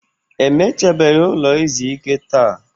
E mechabeghị ụlọ izu ike taa.